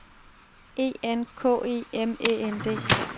E N K E M Æ N D